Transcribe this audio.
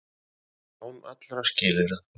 Án allra skilyrða.